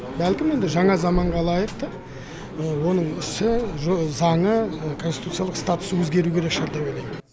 бәлкім енді жаңа заманға лайықты оның ісі заңы конституциялық статусы өзгеруі керек шығар деп ойлаймын